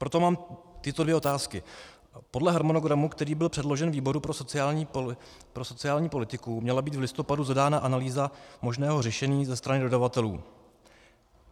Proto mám tyto dvě otázky: Podle harmonogramu, který byl předložen výboru pro sociální politiku, měla být v listopadu zadána analýza možného řešení ze strany dodavatelů.